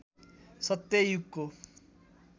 सत्य युगको